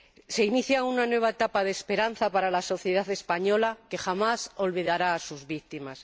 Se inicia una nueva etapa de esperanza para la sociedad española, que jamás olvidará a sus víctimas.